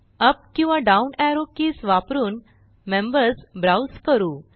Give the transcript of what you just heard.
up किंवा down arrow keys वापरून members browse करू